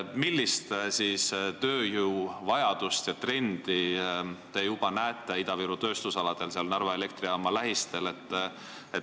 Millist tööjõuvajadust ja trendi te näete Ida-Viru tööstusaladel, seal Narva elektrijaama lähistel?